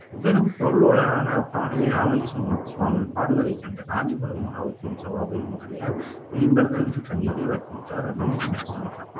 பெரும் பொருளோடான பாடலை சுவாமி பாடுவதை கண்ட காஞ்சிபுரம் மஹாவித்வான் சபாபதி முதலியார் மெய்மறந்து நின்று கண்ணீரை வடித்துவிட்டார் அப்படின்னு சொல்றாங்க